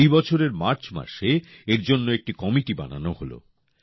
এই বছরের মার্চ মাসে এর জন্য একটি কমিটি বানানো হলো